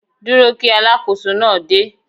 Dúró kí Alákóso náà dé.